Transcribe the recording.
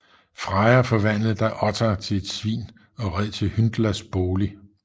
Freja forvandlede da Ottar til et svin og red til Hyndlas bolig